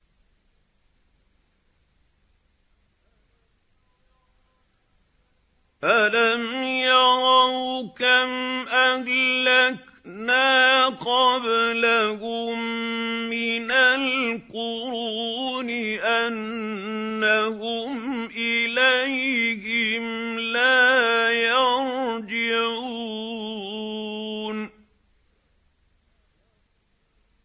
أَلَمْ يَرَوْا كَمْ أَهْلَكْنَا قَبْلَهُم مِّنَ الْقُرُونِ أَنَّهُمْ إِلَيْهِمْ لَا يَرْجِعُونَ